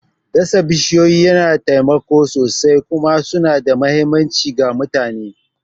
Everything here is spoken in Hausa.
Dasa bishiyoyi yana taimakawa sosai kuma suna da mahimmanci ga mutane.